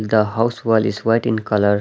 The house wall is white in colour .